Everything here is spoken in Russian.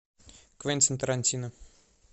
квентин тарантино